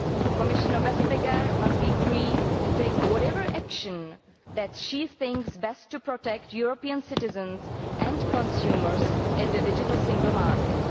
Commissioner Vestager must be free to take whatever action she thinks best to protect European citizens and consumers in the Digital Single Market.